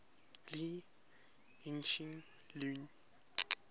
lee hsien loong